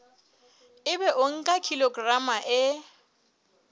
ebe o nka kilograma e